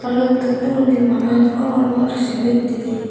yotun durondi bana gor bana sero hitte di.